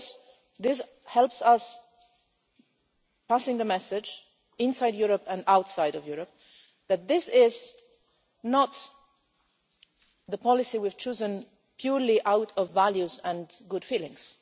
Because this helps us pass on the message inside Europe and outside of Europe, that this is not the policy we've chosen purely out of values and good feelings.